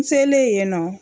N selen yen nɔ